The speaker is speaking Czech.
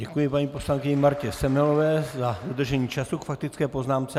Děkuji paní poslankyni Martě Semelové za dodržení času k faktické poznámce.